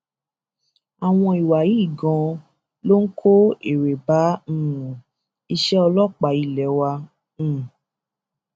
àwọn ìwà yìí ganan ló ń kó èrè bá um iṣẹ ọlọpàá ilé wa um